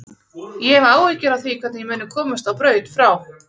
Ég hef áhyggjur af því hvernig ég muni komast á braut frá